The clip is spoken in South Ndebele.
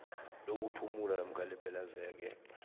lokuphumula namkha lepelaveke